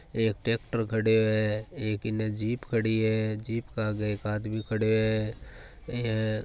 एक ट्रेक्टर खडियो है एक इन जीप खड़ी है जीप के आगे एक आदमी खडियो है ऐ --